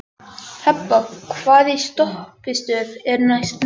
Hebba, hvaða stoppistöð er næst mér?